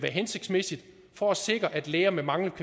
hensigtsmæssigt for at sikre at læger med manglende